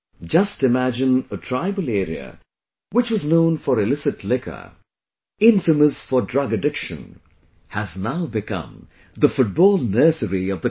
Just imagine a tribal area which was known for illicit liquor, infamous for drug addiction, has now become the Football Nursery of the country